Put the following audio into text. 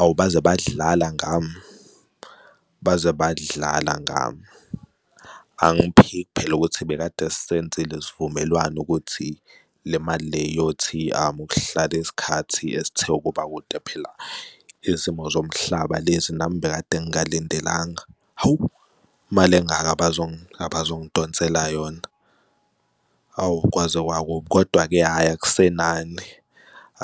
Awu, baze badlala ngami, baze badlala ngami. Angiphiki phela ukuthi bekade senzile isivumelwano ukuthi le mali iyothi ukuhlala isikhathi esithe ukuba akude phela izimo zomhlaba lezi nami bekade ngingalindelanga. Hawu, imali engaka abazongidonselayo yona, hawu kwaze kwakubi. Kodwa-ke, hhayi, akusenani,